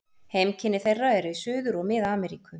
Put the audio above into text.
Heimkynni þeirra eru í Suður- og Mið-Ameríku.